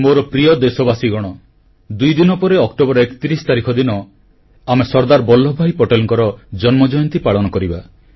ମୋର ପ୍ରିୟ ଦେଶବାସୀଗଣ ଦୁଇଦିନ ପରେ ଅକ୍ଟୋବର 31 ତାରିଖ ଦିନ ଆମେ ସର୍ଦ୍ଦାର ବଲ୍ଲଭଭାଇ ପଟେଲଙ୍କର ଜନ୍ମ ଜୟନ୍ତୀ ପାଳନ କରିବା